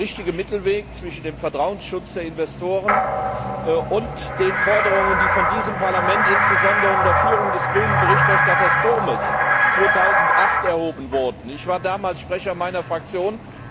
Es ist der richtige Mittelweg zwischen dem Vertrauensschutz für die Investoren und den Forderungen, die von diesem Parlament insbesondere unter Führung des grünen Berichterstatters Turmes 2008 erhoben wurden. Ich war damals Sprecher meiner Fraktion.